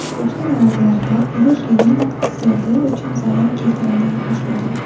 Qo‘shni davlatdagi urush Livan iqtisodiyoti uchun zarar keltiradi boshlagan.